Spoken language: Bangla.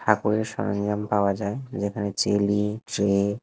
ঠাকুরের সরঞ্জাম পাওয়া যায় যেখানে চেলি ট্রে --